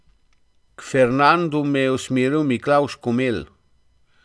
K Fernandu me je usmeril Miklavž Komelj.